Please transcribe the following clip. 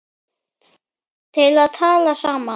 til að tala saman